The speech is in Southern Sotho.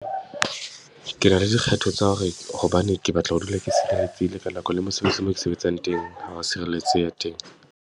Ke na le dikgetho tsa hore hobane ke batla ho dula ke sireletsehile, ka nako le mosebetsing moo ke sebetsang teng ha ho wa sireletseha teng.